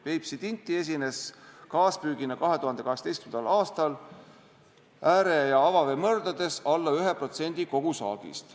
Peipsi tinti esines kaaspüügina 2018. aastal ääre- ja avaveemõrdades alla 1% kogusaagist.